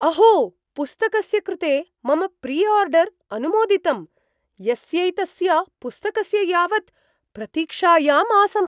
अहो, पुस्तकस्य कृते मम प्रिआर्डर् अनुमोदितम्, यस्यैतस्य पुस्तकस्य यावत् प्रतीक्षायाम् आसम्।